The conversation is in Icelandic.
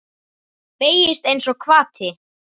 Beygist einsog hvati.